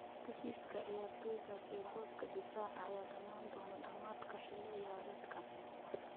Heshiiska ciyaartoygaas ee booska difaaca ayaa dhammaan doona dhammaadka xilli ciyaareedkan.